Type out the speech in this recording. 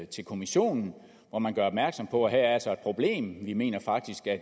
til kommissionen hvor man gør opmærksom på at her er der altså et problem vi mener faktisk at